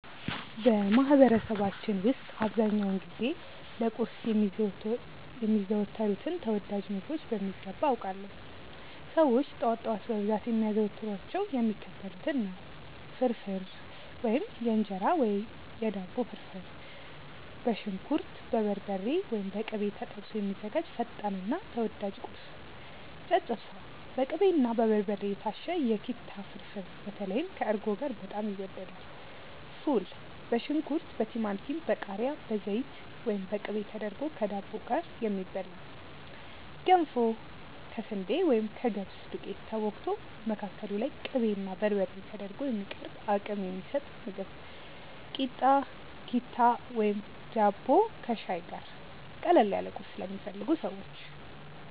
በማህበረሰባችን ውስጥ አብዛኛውን ጊዜ ለቁርስ የሚዘወተሩትን ተወዳጅ ምግቦች በሚገባ አውቃለሁ! ሰዎች ጠዋት ጠዋት በብዛት የሚያዘወትሯቸው የሚከተሉትን ነው፦ ፍርፍር (የእንጀራ ወይም የዳቦ ፍርፍር)፦ በሽንኩርት፣ በበርበሬ (ወይም በቅቤ) ተጠብሶ የሚዘጋጅ ፈጣንና ተወዳጅ ቁርስ። ጨጨብሳ፦ በቅቤና በበርበሬ የታሸ የኪታ ፍርፍር (በተለይ ከእርጎ ጋር በጣም ይወደዳል)። ፉል፦ በሽንኩርት፣ በቲማቲም፣ በቃሪያ፣ በዘይት ወይም በቅቤ ተደርጎ ከዳቦ ጋር የሚበላ። ገንፎ፦ ከስንዴ ወይም ከገብስ ዱቄት ተቦክቶ፣ መካከሉ ላይ ቅቤና በርበሬ ተደርጎ የሚቀርብ አቅም የሚሰጥ ምግብ። ኪታ፣ ቂጣ ወይም ዳቦ ከሻይ ጋር፦ ቀለል ያለ ቁርስ ለሚፈልጉ ሰዎች።